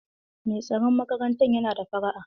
Mai tsaron makarantar yana da fara'a.